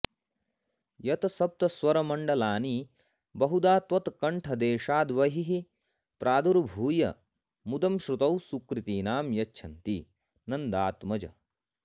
यत्सप्तस्वरमण्डलानि बहुधा त्वत्कण्ठदेशाद्बहिः प्रादुर्भूय मुदं श्रुतौ सुकृतिनां यच्छन्ति नन्दात्मज